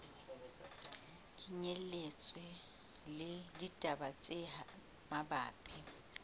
kenyelletswa le ditaba tse mabapi